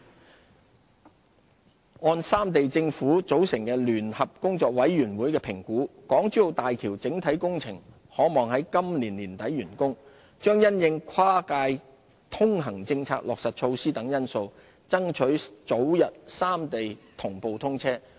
航空業按三地政府組成的聯合工作委員會的評估，港珠澳大橋整體工程可望於今年年底完工，將因應跨界通行政策落實措施等因素，爭取早日三地同步通車。